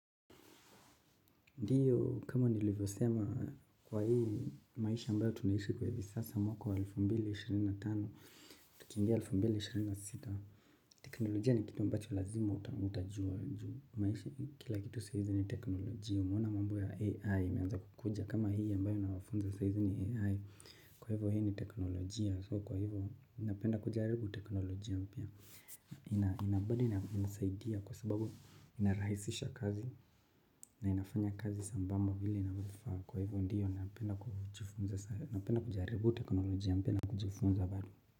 Ndiyo kama nilivyo sema kwa hii maisha ambayo tunaishi kwa hvi sasa mwaka wa alfu mbili ishirini na tano. Tukiingia elfu mbili ishirini na sita teknolojia ni kitu ambacho lazima utajua. Maisha kila kitu saizi ni teknolojia. Naona mambo ya AI imeanza kukuja kama hii ambayo ninawafunza saizi ni AI. Kwa hivyo hii ni teknolojia. So kwa hivyo inapenda kujabu teknolojia mpya. Inabidi inasaidia kwa sababu inarahisisha kazi na inafanya kazi sambamba vile inaweza faa kwa hivyo ndiyo napenda kujifunza napenda kujaribu teknolojia napenda kujifunza bado.